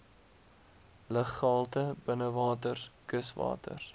luggehalte binnewaters kuswaters